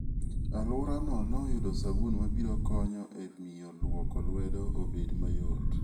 Alworano noyudo sabun mabiro konyo e miyo lwoko lwedo obed mayot.